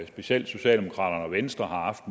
specielt socialdemokraterne og venstre har haft